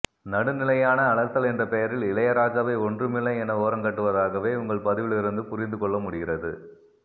நடுநிலையான அலசல் என்ற பெயரில் இளையாராஜாவை ஒன்றுமில்லை என ஓரங்கட்டுவதாகவே உங்கள் பதிவிலிருந்து புரிந்துகொள்ளமுடிகிறது